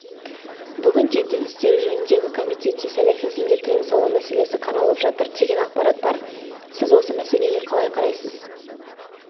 бүгінде дін істері жөніндегі комитетте сәләфизмге тыйым салу мәселесі қаралып жатыр деген ақпарат бар сіз осы мәселеге қалай қарайсыз